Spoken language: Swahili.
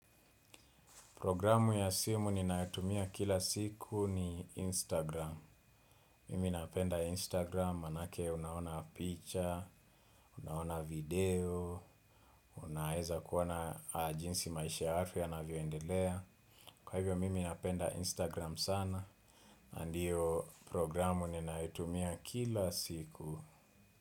Programu ya simu ninayotumia kila siku ni Instagram. Mimi napenda Instagram, maanake unaona picha, unaona video, unaweza kuona jinsi maisha ya watu yanavyoendelea. Kwa hivyo, mimi napenda Instagram sana, na ndiyo programu ninayotumia kila siku.